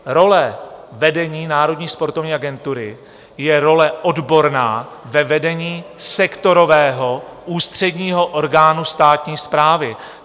Role vedení Národní sportovní agentury je role odborná ve vedení sektorového ústředního orgánu státní správy.